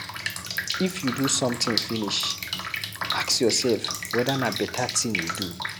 I f you do sometin finish, ask yoursef weda na beta tin you do.